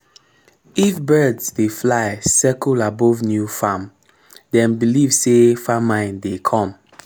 if birds dey fly circle above new farm dem believe say famine dey come